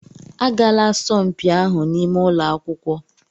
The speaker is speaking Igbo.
Agaala asọmpi ahụ n'ime ụlọ akwụkwọ!